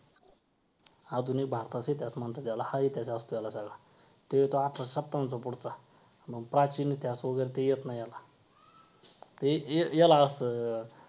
आधुनिक भारताचा इतिहास म्हणतात याला हा इतिहास असतो याला सगळा तो येतो अठराशे सत्तावन्नच्या पुढचा मग प्राचीन इतिहास वगैरे तो येत नाही याला हे हे याला असतो.